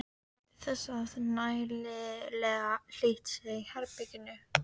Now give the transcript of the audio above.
Gætið þess að nægilega hlýtt sé í herberginu.